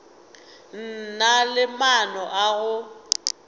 na le maano a go